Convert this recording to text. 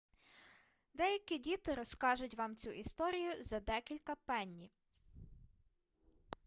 деякі діти розкажуть вам цю історію за декілька пенні